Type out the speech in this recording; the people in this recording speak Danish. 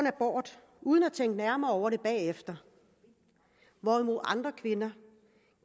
abort uden at tænke nærmere over det bagefter hvorimod andre kvinder